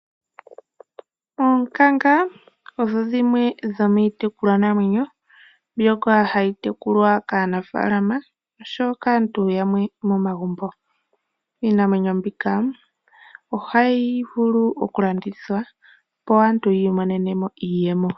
Oonkanga odho dhimwe dhomiitekulwa namwenyo mbyoka hayi tekulwa kaanafaalama osho woo kaantu yamwe momagumbo. Iinamwenyo mbika ohayi vulu oku landithwa po, opo aantu yiimonene mo iiyemo.